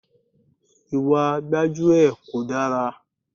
Ìwà gbájúẹ̀ kò dára.